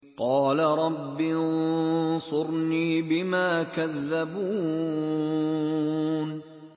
قَالَ رَبِّ انصُرْنِي بِمَا كَذَّبُونِ